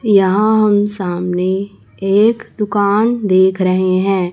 यहां हम सामने एक दुकान देख रहे हैं।